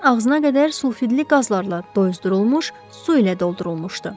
Çən ağzına qədər sulfidli qazlarla doydurulmuş su ilə doldurulmuşdu.